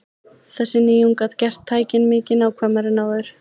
Þessi nýjung gat gert tækin mikið nákvæmari en áður.